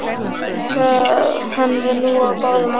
Hann var nú á báðum áttum.